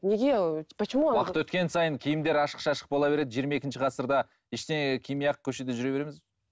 уақыт өткен сайын киімдер ашық шашық бола береді жиырма екінші ғасырда ештеңе кимей ақ көшеде жүре береміз бе